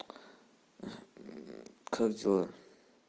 как дела